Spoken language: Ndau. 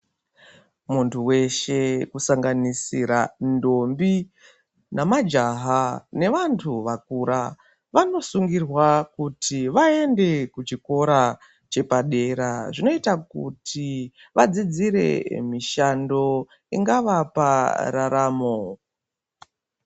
Muntu weshe kusanganisira ntombi nemajaha nevantu vakura vanosungirwa kuti vaende kuchikora chepadera. Zvinoita kuti vadzidzire mishando ingavapa raramo.